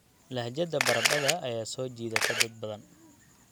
Lahjadda baradhada ayaa soo jiidata dad badan.